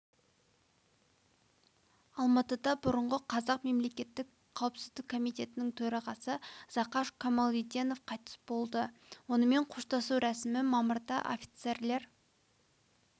алматыда бұрынғы қазақ мемлекеттік қауіпсіздік комитетінің төрағасы зақаш камалиденов қайтыс болды онымен қоштасу рәсімі мамырда офицерлер